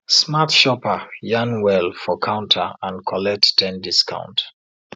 smart shopper yarn well for counter and collect ten discount